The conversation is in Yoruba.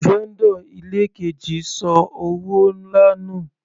Vendor ilé keji ṣọ owó nlá nù.